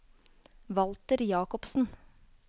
Walter Jakobsen